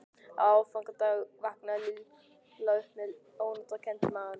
Á aðfangadag vaknaði Lilla upp með ónotakennd í maganum.